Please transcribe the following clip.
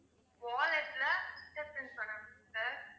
wallet ல picture print பண்ணனும் sir.